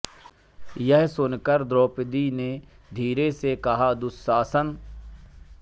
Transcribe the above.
यह सुन कर द्रौपदी ने धीरे से कहा दुःशासन